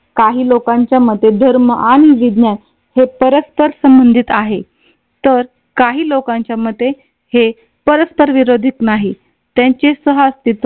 काही लोकांच्या मते धर्म आणि विज्ञान हे परस्पर संबंधित आहे. तर काही लोकांच्या मते हे परस्पर विरोधीत नाही. त्यांचे सह अस्तित्व